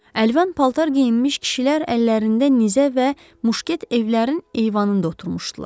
Əlvan paltar geyinmiş kişilər əllərində nizə və muşket evlərin eyvanında oturmuşdular.